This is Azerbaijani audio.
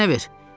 əlini mənə ver!